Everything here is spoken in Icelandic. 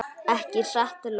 Ekki satt Lóa?